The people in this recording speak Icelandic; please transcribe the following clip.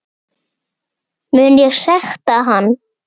Mun ég sekta hann?